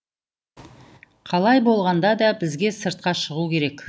қалай болғанда да бізге сыртқа шығу керек